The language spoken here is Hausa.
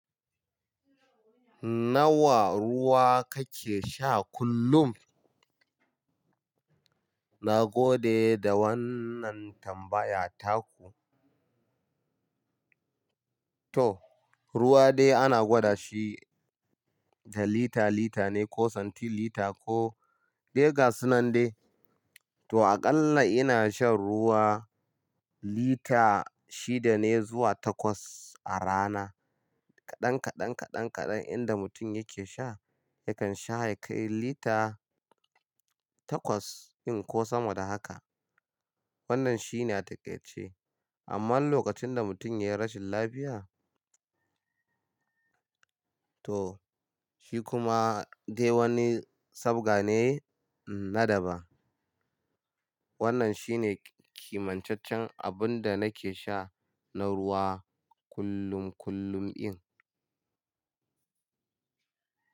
Nawa ruwa kake sha kullum? Na gode da wannan tambaya taku. To, ruwa dai ana gwada shi da lita-lita ne ko santilita ko de gasu nan dai. To, aƙalla ina shan ruwa lita shida ne zuwa takwas a rana. Kaɗan kaɗan, kaɗan kaɗan, inda mutum yake sha yakan sha ya kai lita takwas in ko sama da haka. Wannan shine a taƙaice. Amma lokacin da mutum ya yi rashin lafiya, to shi kuma dai wani sabga ne na daban. Wannan shine kimantaccen abun da nake sha na ruwa kullum kullum in.